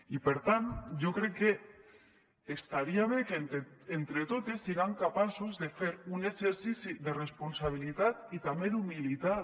i per tant jo crec que estaria bé que entre totes siguem capaces de fer un exercici de responsabilitat i també humilitat